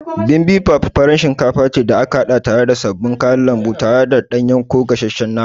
Bibimbap farar shinkafa ce da aka haɗa tare da sabbin kayan lambu tare da ɗanye ko gashesshen nama.